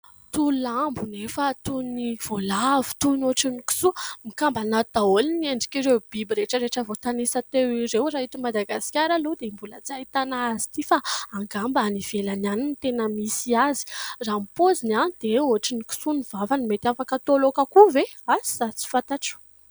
Toy lambo anefa toy ny voalavo toy ny ohatrin'ny kisoa, mikambana ato daholo ny endrik'ireo biby rehetra rehetra voatanisa teo ireo. Raha eto Madagasikara aloha dia mbola tsy ahitana azy ity fa angamba any ivelany any tena misy azy, raha ny paoziny dia ohatrin'ny kisoa ny vavany mety afaka atao laoka koa ve ? Asa tsy fantatro !